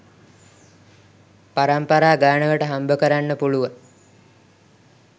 පරම්පරා ගානකට හම්බකරන්න පුළුවන්.